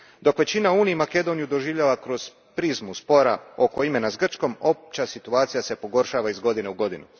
Dok većina u Uniji Makedoniju doživljava kroz prizmu spora oko imena s Grčkom, opća situacija se pogoršava iz godine u godinu.